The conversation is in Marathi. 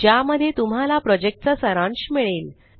ज्यामध्ये तुम्हाला प्रॉजेक्टचा सारांश मिळेल